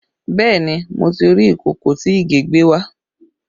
Bẹẹ ni, mo ti rí ìkòkò tí Ìgè gbé wá